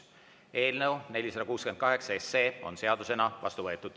Eelnõu 468 on seadusena vastu võetud.